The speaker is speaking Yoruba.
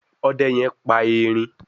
Òde yén pá ẹrin.